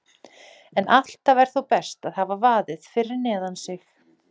En alltaf er þó best að hafa vaðið fyrir neðan sig.